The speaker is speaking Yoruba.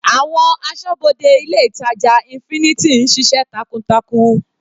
Àwọn asọ́bodè ilé ìtàjà infinity ń ṣiṣẹ́ takuntakun.